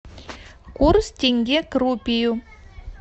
курс тенге к рупию